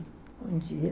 Bom dia.